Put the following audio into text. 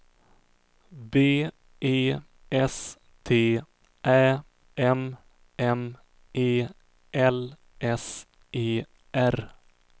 B E S T Ä M M E L S E R